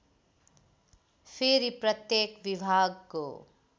फेरि प्रत्येक विभागको